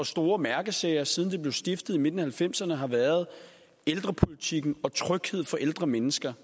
store mærkesager siden det blev stiftet i midten af nitten halvfemserne har været ældrepolitikken og trygheden for ældre mennesker